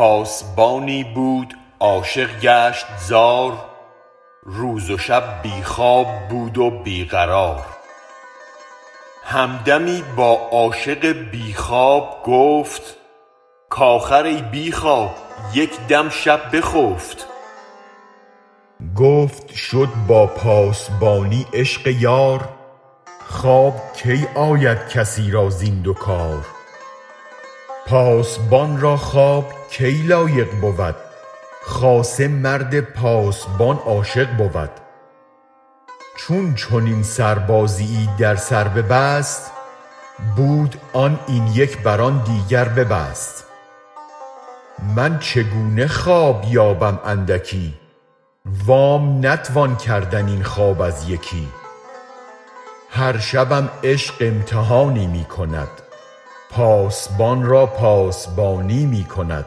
پاسبانی بود عاشق گشت زار روز و شب بی خواب بود و بی قرار هم دمی با عاشق بی خواب گفت کاخر ای بی خواب یک دم شب بخفت گفت شد با پاسبانی عشق یار خواب کی آید کسی را زین دو کار پاسبان را خواب کی لایق بود خاصه مرد پاسبان عاشق بود چون چنین سربازیی در سر ببست بود آن این یک بر آن دیگر ببست من چگونه خواب یابم اندکی وام نتوان کردن این خواب از یکی هر شبم عشق امتحانی می کند پاسبان را پاسبانی می کند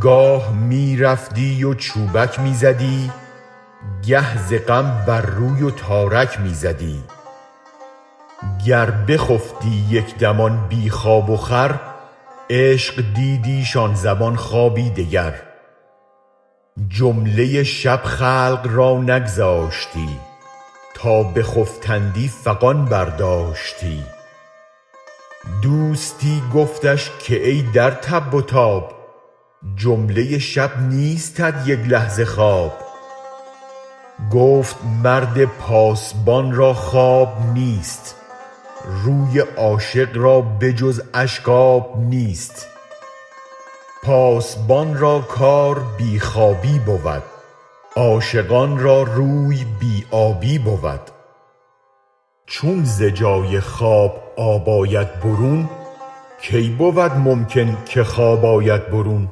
گاه می رفتی و چوبک می زدی گه ز غم بر روی و تارک می زدی گر بخفتی یک دم آن بی خواب و خور عشق دیدیش آن زمان خوابی دگر جمله شب خلق را نگذاشتی تا بخفتندی فغان برداشتی دوستی گفتش که ای در تب و تاب جمله شب نیستت یک لحظه خواب گفت مرد پاسبان را خواب نیست روی عاشق را به جز اشک آب نیست پاسبان را کار بی خوابی بود عاشقان را روی بی آبی بود چون ز جای خواب آب آید برون کی بود ممکن که خواب آید برون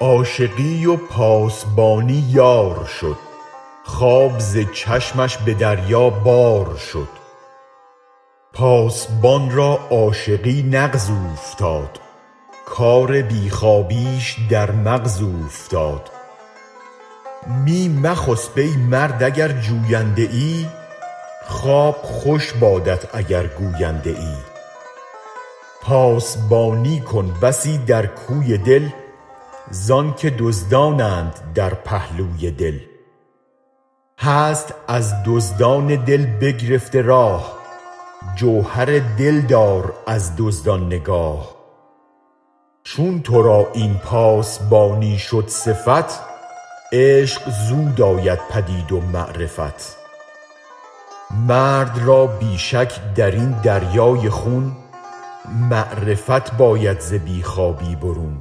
عاشقی و پاسبانی یارشد خواب ز چشمش به دریا بار شد پاسبان را عاشقی نغز اوفتاد کار بی خوابیش در مغز اوفتاد می مخسب ای مرد اگر جوینده ای خواب خوش بادت اگر گوینده ای پاسبانی کن بسی در کوی دل زانک دزدانند در پهلوی دل هست از دزدان دل بگرفته راه جوهر دل دار از دزدان نگاه چون ترا این پاسبانی شد صفت عشق زود آید پدید و معرفت مرد را بی شک درین دریای خون معرفت باید ز بی خوابی برون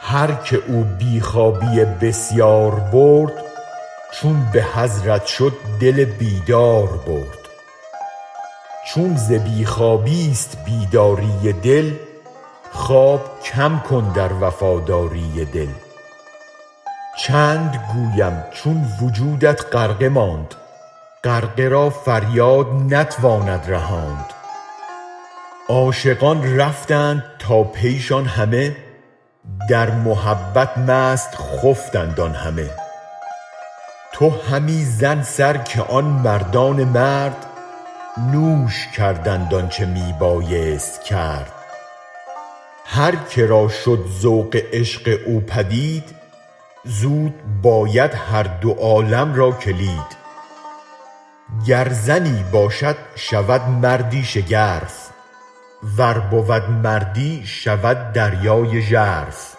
هرک او بی خوابی بسیار برد چون به حضرت شد دل بیداربرد چون ز بی خوابیست بیداری دل خواب کم کن در وفاداری دل چند گویم چون وجودت غرقه ماند غرقه را فریاد نتواند رهاند عاشقان رفتند تا پیشان همه در محبت مست خفتند آن همه تو همی زن سر که آن مردان مرد نوش کردند آنچ می بایست کرد هر که را شد ذوق عشق او پدید زود باید هر دو عالم را کلید گر زنی باشد شود مردی شگرف ور بود مردی شود دریای ژرف